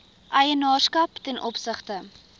eienaarskap ten opsigte